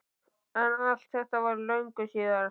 En allt þetta var löngu síðar.